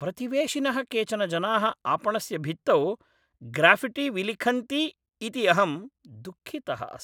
प्रतिवेशिनः केचन जनाः आपणस्य भित्तौ ग्राफ़िट्टि विलिखन्ति इति अहं दुःखितः अस्मि।